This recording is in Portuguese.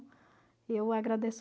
Eu agradeço